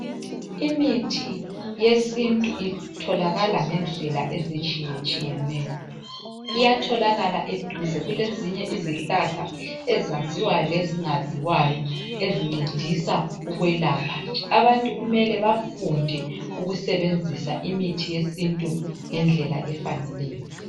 imithi yesintu itholakala ngendlela ezitshiyetshiyeneyo iyatholakala eduze kulezinye izihlahla ezaziwayo lezingaziwayo ezincedisa ukwelapha abantu kumele bafunde ukusebenzisa imithi yesintu ngendlela efaneleyo